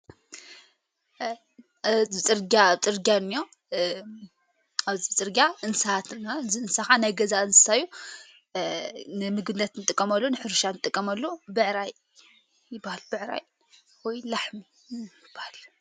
ኣዚ ጽርግያ ጽርጋ ብጥርጋዮ ኣብዝዝጽርጋ እንስሓትና ዝእንሳኻ ኣይ ገዛ እንሳዩ ንምግነትን ጥቀመሉ ንሕርሻን ጥቀመሉ በዕራይ ይበሃል በዕራይ ወይ ክዓ ላሕሚ ይባሃል።